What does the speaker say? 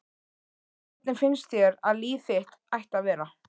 Hvernig finnst þér að líf þitt ætti að vera?